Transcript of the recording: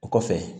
O kɔfɛ